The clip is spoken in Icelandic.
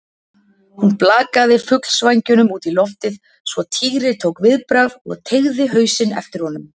Hún blakaði fuglsvængnum út í loftið svo Týri tók viðbragð og teygði hausinn eftir honum.